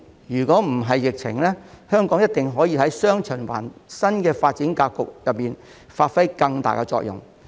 若不是疫情，香港一定可以在"雙循環"新發展格局中發揮更大的作用。